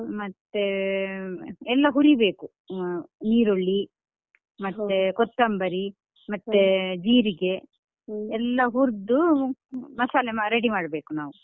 ಮತ್ತೆ ಎಲ್ಲಾ ಹುರಿಬೇಕು ಅಹ್ ಈರುಳ್ಳಿ ಮತ್ತೆ ಕೊತ್ತಂಬರಿ ಮತ್ತೆ ಜೀರಿಗೆ ಎಲ್ಲಾ ಹುರ್ದು ಅಹ್ ಮಸಾಲೆ ಅಹ್ ready ಮಾಡ್ಬೇಕು ನಾವು.